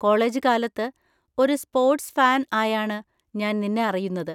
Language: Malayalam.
കോളേജ് കാലത്ത്, ഒരു സ്പോർട്സ് ഫാൻ ആയാണ് ഞാൻ നിന്നെ അറിയുന്നത്.